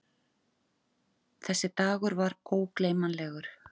Þessi dagur var ógleymanlegur.